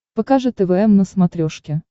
покажи твм на смотрешке